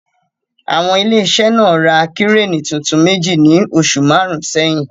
Àwọn ilé iṣẹ́ náà ra Kíréènì tuntun méjì ní oṣù márùn-ún sẹ́yìn.